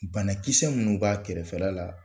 Banakisɛ minnu b'a kɛrɛfɛla la